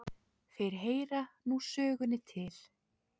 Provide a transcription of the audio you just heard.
Þeir heyra nú sögunni til.